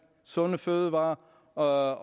sunde fødevarer og